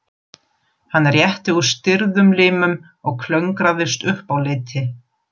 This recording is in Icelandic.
Hann rétti úr stirðum limum og klöngraðist upp á leiti.